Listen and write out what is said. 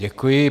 Děkuji.